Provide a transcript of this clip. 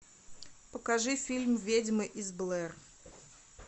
покажи фильм ведьмы из блэр